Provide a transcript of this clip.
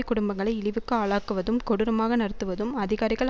குடும்பங்களை இழிவுக்கு ஆளாக்குவதும் கொடூரமாக நடத்துவதும் அதிகாரிகள்